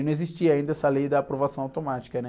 E não existia ainda essa lei da aprovação automática, né?